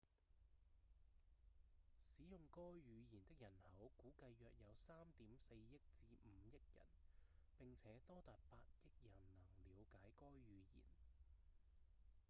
使用該語言的人口估計約有 3.4 億至5億人並且多達8億人能了解該語言